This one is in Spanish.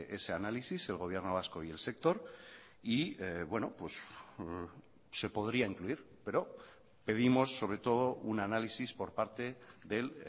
ese análisis el gobierno vasco y el sector y se podría incluir pero pedimos sobre todo un análisis por parte del